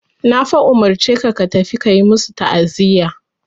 Na fa umurce ka ka tafi ka yi masu ta'aziya.